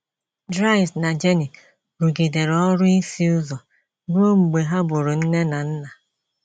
Dries na Jenny rụgidere ọrụ ịsụ ụzọ ruo mgbe ha bụrụ nne na nna.